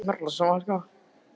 Við gætum hringt niður til hans.